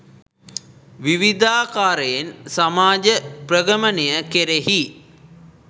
විවිධාකාරයෙන් සමාජ ප්‍රගමනය කෙරෙහි